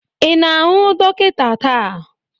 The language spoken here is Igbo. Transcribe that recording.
Ị na-ahụ dọkịta taa?